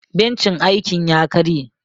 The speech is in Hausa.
Bencin aikin ya karye.